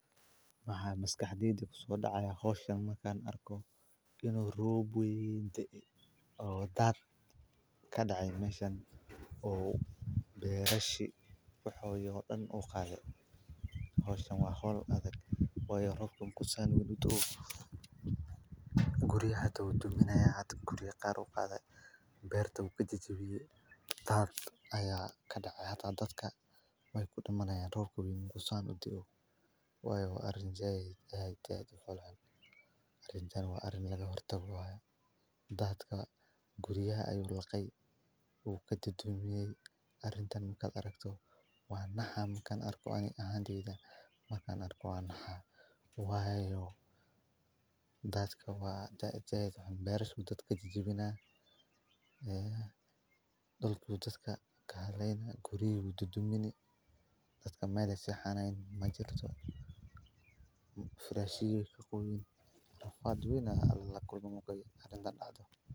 Wa maskaxdeyda kusodacaya howshan marka arko inu rob weyn da'ay o dad kadacay meshan o berashi waxoodi o daan u qadi howshan wa howl adag wayo robka marku saan uda o guriga xata wu duminaya guriya qar u qada berta u kajijibiyay dad aya kadacay dadka wu kudiman yan rob marku san u daa'o wayo wa arin zaid u folxun wa arin yaro horta dadka guryaha u laqay arintan marka anarko wanaxa ani ahanteyda marka anakro wanaxa wayo dadka wa xun beraha dadka kajijibina e berta dadka kahaleyna guriga u dudumin dadka meel ay saxanayan majirto firashayadi weykaqoyen raf weyn aya lalkulmay l.